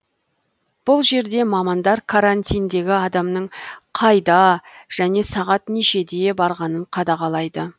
бұл жерде мамандар карантиндегі адамның қайда және сағат нешеде барғанын қадағалайды